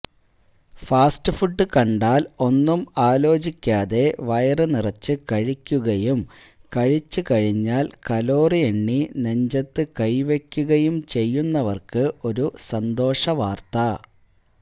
fast food കണ്ടാല് ഒന്നും ആലോചിക്കാതെ വയറുനിറച്ച് കഴിക്കുകയും കഴിച്ചു കഴിഞ്ഞാല് കലോറിയെണ്ണി നെഞ്ചത്ത് കൈവെയ്ക്കുകയും ചെയ്യുന്നവര്ക്ക് ഒരു സന്തോഷവാര്ത്ത